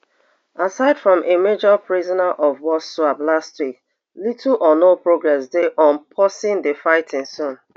aside from a major prisoner of war swap last week little or no progress dey on pausing di fighting soon